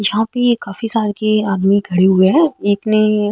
यहाँ पे ये काफी साल के आदमी खड़े हुए है एक ने --